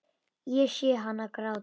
Ég sé hana gráta.